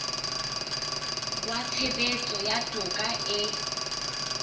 wa tshebetso ya toka e